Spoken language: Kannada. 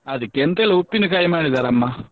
ಅದಿಕ್ಕೆ ಎಂತ ಇಲ್ಲ ಉಪ್ಪಿನಕಾಯಿ ಮಾಡಿದಾರೆ ಅಮ್ಮ.